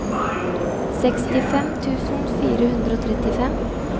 sekstifem tusen fire hundre og trettifem